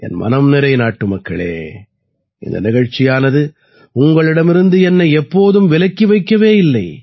என் மனம் நிறை நாட்டுமக்களே இந்த நிகழ்ச்சியானது உங்களிடமிருந்து என்னை எப்போதும் விலக்கி வைக்கவே இல்லை